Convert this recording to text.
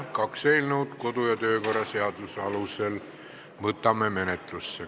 Esitati kaks eelnõu, kodu- ja töökorra seaduse alusel võtame need menetlusse.